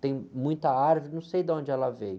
Tem muita árvore, não sei de onde ela veio.